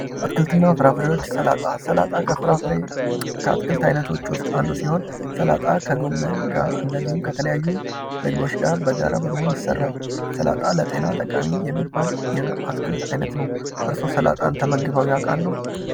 አትክልት እና ፍራፍሬዎች፦ ሰላጣ ፦ ሰላጣ ከአትክልት አይነቶች ውስጥ አንዱ ሲሆን ሰላጣ ከጎመን ጋር እንዲሁም ከተለያዩ ምግቦች ጋር በጋራ በመሆን ይሰራል ። ሰላጣ ለጤና ጠቃሚ የሚባል የአትክልት አይነት ነው ። እርስዎ ሰላጣን ተመግበው ያልቃሉ ?